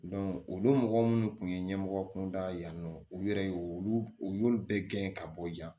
olu mɔgɔ minnu kun ye ɲɛmɔgɔ kunda yan nɔ u yɛrɛ ye olu bɛɛ gɛn ka bɔ yan